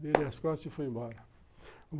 Dei-lhe as costas e fui embora.